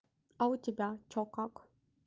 а у тебя что как